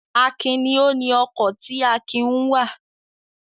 Akin ni ó ni ọkọ̀ tí Akin ń wà.